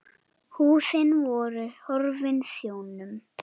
Húsin voru horfin sjónum.